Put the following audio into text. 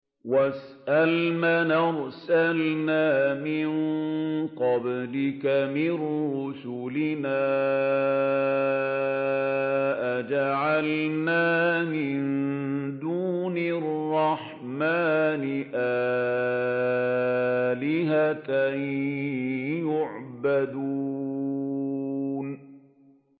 وَاسْأَلْ مَنْ أَرْسَلْنَا مِن قَبْلِكَ مِن رُّسُلِنَا أَجَعَلْنَا مِن دُونِ الرَّحْمَٰنِ آلِهَةً يُعْبَدُونَ